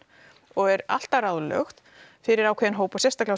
og er alltaf ráðlögð fyrir ákveðinn hóp sérstaklega